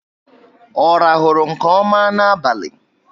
Ọ rahulu nke ọma n'abalị?